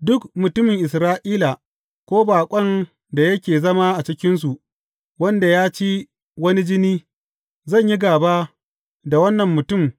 Duk mutumin Isra’ila ko baƙon da yake zama a cikinsu wanda ya ci wani jini, zan yi gāba da wannan mutum